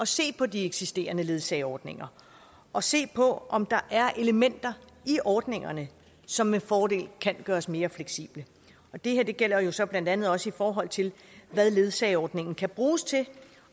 se på de eksisterende ledsageordninger og se på om der er elementer i ordningerne som med fordel kan gøres mere fleksible og det her gælder jo så blandt andet også i forhold til hvad ledsageordningen kan bruges til